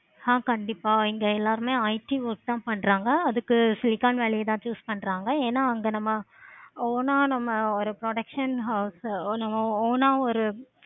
ஆஹ் கண்டிப்பா இங்க எல்லாருமே IT work தான் பண்றாங்க. அதுக்கு silicon ன் வேலை தான் choose பண்றாங்க. ஏன வந்து நம்ம own ஆஹ் நம்ம production house own ஆஹ் ஒரு